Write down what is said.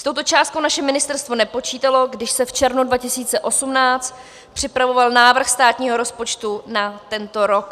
S touto částkou naše ministerstvo nepočítalo, když se v červnu 2018 připravoval návrh státního rozpočtu na tento rok.